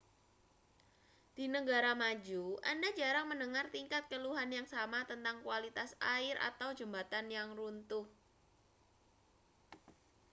di negara maju anda jarang mendengar tingkat keluhan yang sama tentang kualitas air atau jembatan yang runtuh